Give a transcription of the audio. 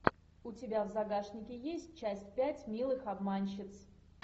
у тебя в загашнике есть часть пять милых обманщиц